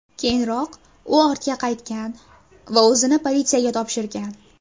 Keyinroq u ortiga qaytgan va o‘zini politsiyaga topshirgan.